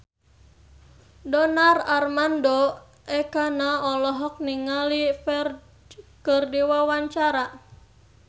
Donar Armando Ekana olohok ningali Ferdge keur diwawancara